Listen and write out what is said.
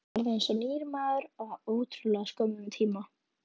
Varð eins og nýr maður á ótrúlega skömmum tíma.